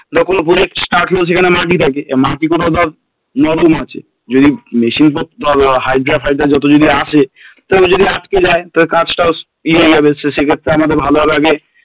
যখন Project start হল সেখানে মাটি থাকে মাটি গুলো ধর নরম আছে যদি machine hydra ফাইড্রা যত যদি আসে তো যদি আটকে যায় কাজ টাও ইয়ে হয়ে যাবে তো সেক্ষেত্রে আমাদের ভালোভাবে আগে